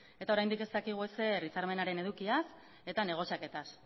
eta oraindik ez dakigu ezer hitzarmenaren edukiaz eta negoziaketaz